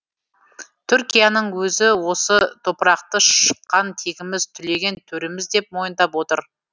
түркияның өзі осы топырақты шыққан тегіміз түлеген төріміз деп мойындап отыр